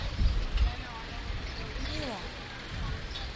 мило